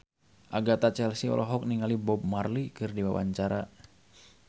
Agatha Chelsea olohok ningali Bob Marley keur diwawancara